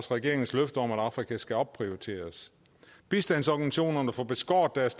regeringens løfte om at afrika skal opprioriteres bistandsorganisationerne får beskåret deres